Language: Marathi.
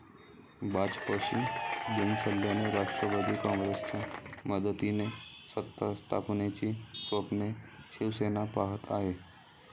भाजपशी बिनसल्याने राष्ट्रवादी काँग्रेसच्या मदतीने सत्तास्थापनेची स्वप्ने शिवसेना पाहत आहे.